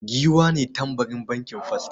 Giwa ne tambarin bankin first.